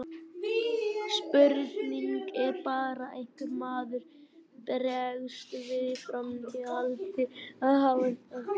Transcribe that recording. Spurningin er bara hvernig maður bregst við í framhaldi af því.